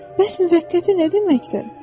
Bəs müvəqqəti nə deməkdir?